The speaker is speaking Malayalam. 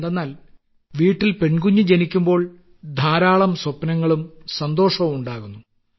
എന്തെന്നാൽ വീട്ടിൽ പെൺകുഞ്ഞ് ജനിക്കുമ്പോൾ ധാരാളം സ്വപ്നങ്ങളും സന്തോഷവും ഉണ്ടാകുന്നു